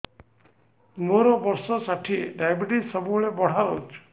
ମୋର ବର୍ଷ ଷାଠିଏ ଡାଏବେଟିସ ସବୁବେଳ ବଢ଼ା ରହୁଛି